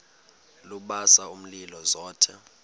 lubasa umlilo zothe